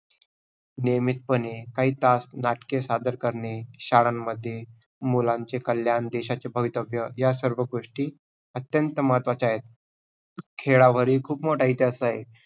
नियमतपणे काही तास नाट्य सादर करणे. शाळांमध्ये मुलांचे कल्याण, देशाचे भवितव्य या सर्व गोष्टी अत्यंत महत्वाचे आहेत. खेळावरही खूप मोठा इतिहास आहे.